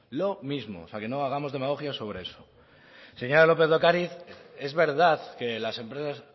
o sea no hagamos demagogia sobre eso señora lópez de ocariz es verdad que las empresas